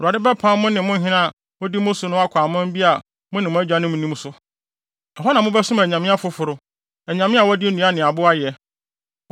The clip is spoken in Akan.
Awurade bɛpam mo ne mo hene a odi mo so no akɔ ɔman bi a mo ne mo agyanom nnim so so. Ɛhɔ na mobɛsom anyame afoforo, anyame a wɔde nnua ne abo ayɛ.